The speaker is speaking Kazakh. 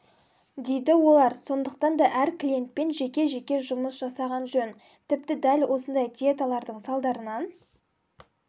дейді олар сондықтан да әр клиентпен жеке-жеке жұмыс жасаған жөн тіпті дәл осындай диеталардың салдарынан